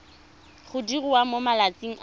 go diriwa mo malatsing a